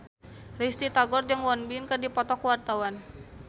Risty Tagor jeung Won Bin keur dipoto ku wartawan